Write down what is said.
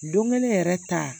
Don kelen yɛrɛ ta